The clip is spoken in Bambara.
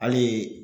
Hali